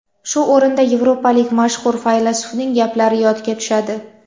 Shu o‘rinda yevropalik mashhur faylasufning gaplari yodga tushadi.